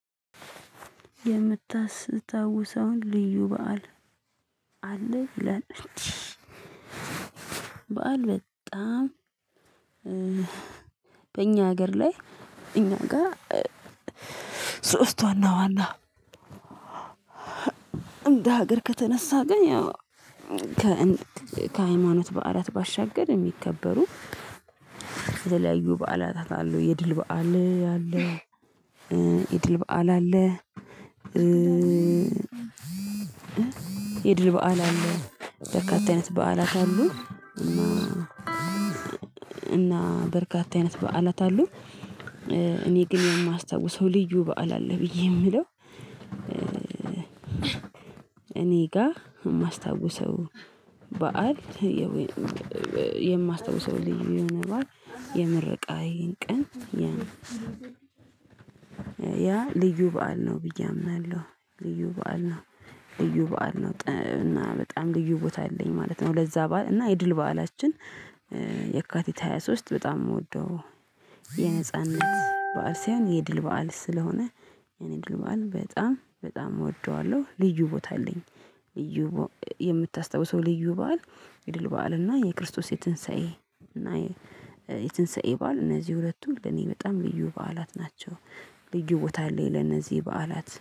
የምታስታውሰውን ልዩ በዓል አለ ይላል። በዓል በጣም በእኛ ሀገር ላይ እኛ ጋር። ሶስት ዋና ዋና እንደ ሀገር ከተነሳ ግን ያው። ከሃይማኖት በዓላት ባሻገር የሚከበሩ። የተለያዩ በዓላታት አሉ የድል በዓል አለ። የድል በዓል አለ። የድል በዓል አለ በርካታ አይነት በዓላት አሉ። እና እና በርካታ አይነት በዓላት አሉ። እኔ ግን የማስታውሰው ልዩ በዓል አለ ብዬ የምለው። እኔ ጋ የማስታውሰው በዓል የማስታውሰው ልዩ የሆነ በዓል የመረቃዬን ቀን። ያ ያ ልዩ በዓል ነው ብዬ አምናለሁ። ልዩ በዓል ነው። ልዩ በዓል ነው እና በጣም ልዩ ቦታ አለኝ ማለት ነው። ለዛ በዓል እና የድል በዓላችን የካቲት ሃያ ሶስት በጣም የምወደው። የነጻነት በዓል ሳይሆን የድል በዓል ስለሆነ የኔ የድል በዓል በጣም በጣም እወደዋለሁ ልዩ ቦታ አለኝ። የምታስታውሰው ልዩ በዓል የድል በዓል እና የክርስቶስ የትንሳኤ እና የትንሳኤ ባል እነዚህ ሁለቱ ለኔ በጣም ልዩ በዓላት ናቸው። ልዩ ቦታ አለኝ ለነዚህ በዓላት